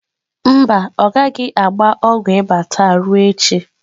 Mba, ọ gaghị agba ọgwụ ịba taa, ruo echi.